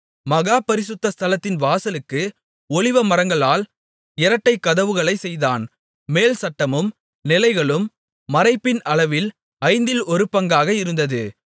மகா பரிசுத்த ஸ்தலத்தின் வாசலுக்கு ஒலிவமரங்களால் இரட்டைக் கதவுகளைச் செய்தான் மேல்சட்டமும் நிலைகளும் மறைப்பின் அளவில் ஐந்தில் ஒரு பங்காக இருந்தது